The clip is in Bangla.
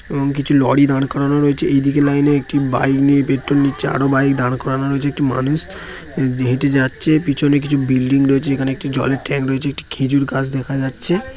এবং কিছু লরি দাঁড় করানো রয়েছে এই দিকে লাইনে একটি বাইক নিয়ে পেট্রোল নিচে আরো বাইক দাঁড় করানো রয়েছে একটি মানুষ হেঁটে যাচ্ছে পিছনে কিছু বিল্ডিং রয়েছে এখানে জলের ট্যাংক রয়েছে একটি খেজুর গাছ দেখা যাচ্ছে।